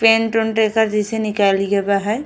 Paint ओंट एकर जाइसे निकली गै बा है।